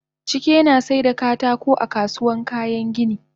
Chike nasaida katako a kasuwan kayan gini